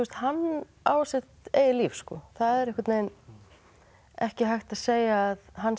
hann á sitt eigið líf það er einhvern veginn ekki hægt að segja að hann sé